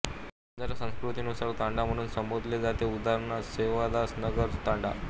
बंजारा संस्कृती नुुुसार तांंडा म्हणून संबोधले जाते उदा सेवादासनगर तांडा